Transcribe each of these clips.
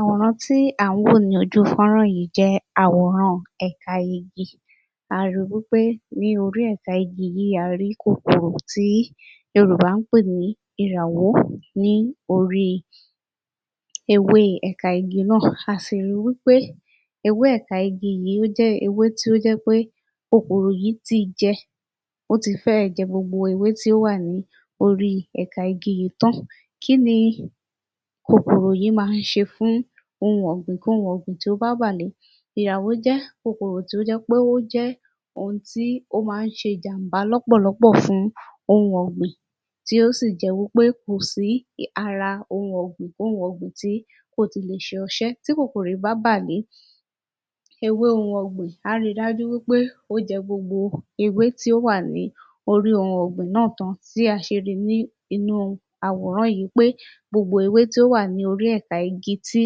Àwòrán tí à ń wò ní ojú fọ́nrán yìí jẹ́ àwòrán ẹ̀ka igi a ri wí pé ní orí ẹ̀ka igi yìí a rí kòkòrò tí yorùbá ń pè ní ìràwó ní orí ewé ẹ̀ka igi náà, a sì ri wí pé ewé ẹ̀ka igi yìí ó jẹ́ ewé tí ó jẹ́ pé kòkòrò yìí ti jẹ ó ti fẹ́ ẹ̀ jẹ gbogbo ewé tí ó wà ní orí ẹ̀ka igi yìí tán. kí ni kòkòrò yìí máa ń ṣe fún ohun ọ̀gbìn-kóhun-ọ̀gbìn tó bá wà ní, ìràwó jẹ́ kòkòrò tí ó jẹ́ pé ó jẹ́ ohun tí ó máa ń ṣe ìjàmbá lọ́pọ̀lọpọ̀ fún ohun ọ̀gbìn tí ó sì jẹ́ wí pé kò sí ara ohun ọ̀gbìn-kóhun-ọ̀gbìn tí kò ti lè ṣe ọṣẹ́ tí kòkòrò yìí bá bàlé ewé ohun ọ̀gbìn á ri dájú pé ó jẹ gbogbo ewé tí ó wà ní orí ohun ọ̀gbìn náà tán bí a ṣe rí nínú àwòrán yìí pé gbogbo ewé tí ó wà ní orí igi tí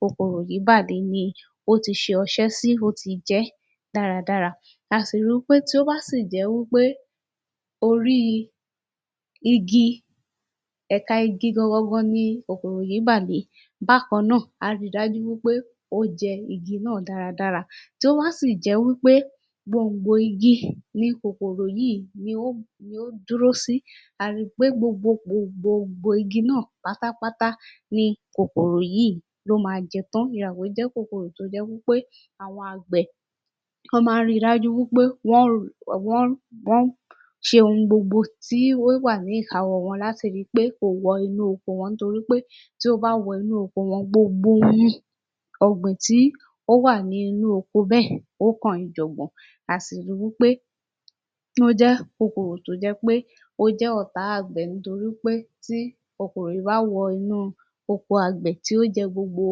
kòkòrò yìí bà lé ni ó ti ṣe ọṣẹ́ sí, ó ti jẹ́ dáradára a sì ri wí pé tí ó bá sì jẹ́ wí pé orí igi ẹ̀ka igi gangangangan ni kòkòrò yìí bà lé bákan náà á rí dájú wí pé á jẹ igi náà dáradára tó bá sì jẹ́ wí pé gbòngbò igi ni kòkòrò yìí ló dúró sí a ri pé gbogbo gbòngbò igi náà pátápátá ni kòkòrò yìí ló máa jẹ tán. Ìràwó jẹ́ kòkòrò tó jẹ́ wí pé àwọn àgbẹ̀ wọ́n máa ń ri dájú pé wọ́n ṣe ohun gbogbo tó wà ní ìkáwọ́ wọn láti ri wí pé kò wọ inú oko wọn torí pé tí ó bá wọ inú oko wọn gbogbo ohun ọ̀gbìn tí ó wà nínú oko bẹ́ẹ̀ ó kan ìjọ̀gbọ̀n. A sì ri wí pé ó jẹ́ kòkòrò tó jẹ́ pé ó jẹ́ ọ̀tá àgbẹ̀ nítorí pé tí kòkòrò yìí bá wọ inú oko àgbẹ̀ tí ó jẹ gbogbo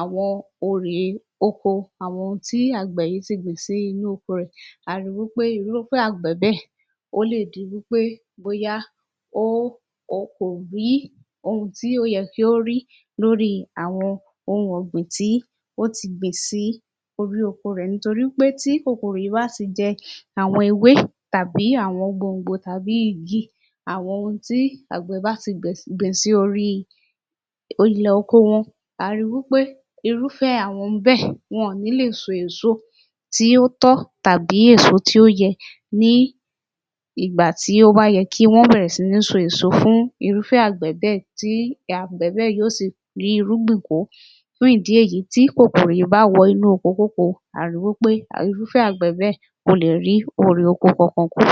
àwọn orè oko àwọn tí àgbẹ̀ yìí ti gbìn sínú oko rẹ̀ a ri wí pé irúfẹ́ àgbẹ̀ bẹ́ẹ̀ ó lè di wí pé bóyá kò rí ohun tí ó yẹ kó rí lórí àwọn ohun ọ̀gbìn tí ó ti gbìn sí orí oko rẹ̀, nítorí pé tí kòkòrò yìí bá ti jẹ àwọn ewé tàbí àwọn gbòngbò tàbí igi àwọn ohun tih àgbẹ̀ bá ti gbìn sí orí ilẹ̀ oko wọn, a ri wí pé irúfẹ́ àwọn bẹ́ẹ̀ wọn ò ní lè so èso tí ó tọ́ tàbí èso tí ó yẹ ní ìgbà tí ó bá yẹ kí wọ́n bẹ̀rẹ̀ sí so èso fún irúfẹ́ àgbẹ̀ bẹ́ẹ̀ tí àgbẹ̀ bẹ́ẹ̀ yó sì rí irúgbìn kó Fún ìdí èyí tí kòkòrò yìí bá wọ inú okokóko a ri wí peh irúfẹ́ àgbẹ̀ bẹ́ẹ̀ kò lè rí òrè oko kankan kó